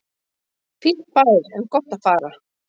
Fínn bær en gott að fara